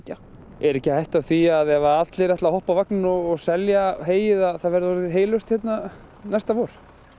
er ekki hætt við því að ef allir ætla að hoppa á vagninn og selja heyið að það verði orðið heylaust hérna næsta vor